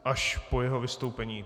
Až po jeho vystoupení.